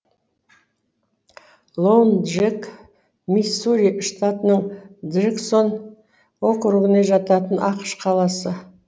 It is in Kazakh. лоун джек миссури штатының джексон округіне жататын ақш қаласы